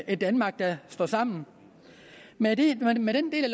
et danmark der står sammen med med den del af